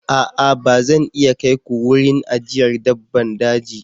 A'a! Ba zan iya kai ku wurin ajiyar dabbban daji.